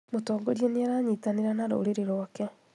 Mũtongoria nĩaranyitanĩra na rũrĩrĩ rwake